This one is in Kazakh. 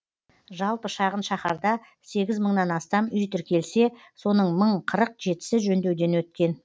жалпы шағын шаһарда сегіз мыңнан астам үй тіркелсе соның мың қырық жетісі жөндеуден өткен